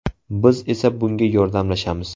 Biz esa bunga yordamlashamiz.